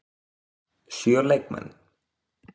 Sjö leikmenn?